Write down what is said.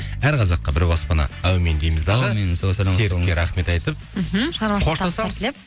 әр қазаққа бір баспана әумин дейміз дағы серікке рахмет айтып мхм